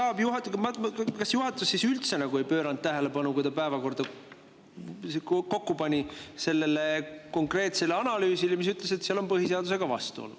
Kui juhatus päevakorda kokku pani, kas ta siis üldse ei pööranud tähelepanu sellele konkreetsele analüüsile, mis ütles, et seal on vastuolu põhiseadusega?